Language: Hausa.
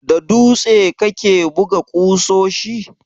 Da dutse kake buga ƙusoshi?